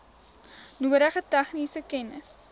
nodige tegniese kennis